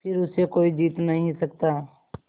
फिर उसे कोई जीत नहीं सकता